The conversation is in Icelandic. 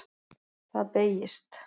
Það beygist: